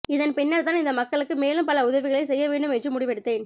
இதன் பின்னர்தான் இந்த மக்களுக்கு மேலும் பல உதவிகளை செய்ய வேண்டும் என்று முடிவெடுத்தேன்